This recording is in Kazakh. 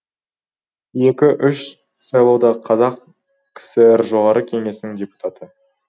екі үш сайлауда қазақ кср жоғары кеңесінің депутаты